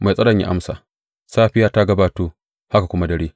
Mai tsaro ya amsa, Safiya ta gabato, haka kuma dare.